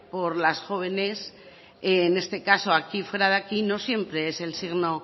por las jóvenes en este caso aquí fuera de aquí no siempre es el signo